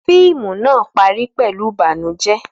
Fíìmù náà parí pẹ̀lú ìbànújẹ́.